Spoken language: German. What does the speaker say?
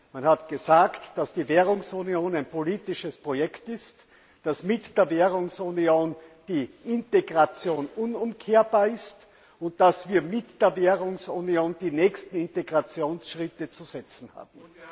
Man hat gesagt, dass die Währungsunion ein politisches Projekt ist, dass mit der Währungsunion die Integration unumkehrbar ist und dass wir mit der Währungsunion die nächsten Integrationsschritte zu setzen haben.